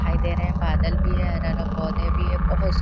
दिखाई दे रहे है बादल भी है हरा हरा पोधे भी है बहुत सु--